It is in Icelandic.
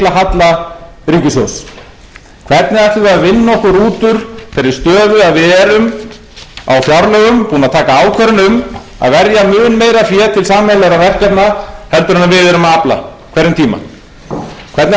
ríkissjóðs hvernig ætlum við að vinna okkur út úr þeirri stöðu að við erum á fjárlögum búin að taka ákvörðun um að verja mun meira fé til sameiginlegra verkefna heldur en við erum að afla á hverjum tíma hvernig ætlum við að takast á við þá stöðu